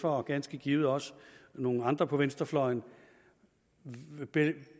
og ganske givet også nogle andre på venstrefløjen